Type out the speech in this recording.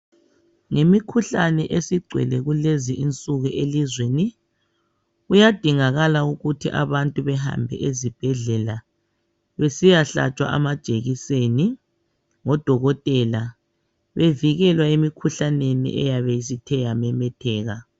Yimikhuhlane esigcwele kulezi nsuku elizweni kuyadingakala ukuthi abantu behambe ezibhedlela besiyahlatshwa amajekiseni ngodokotela bevikelwa emikhuhlaneni eyabe isithe yamemetheka.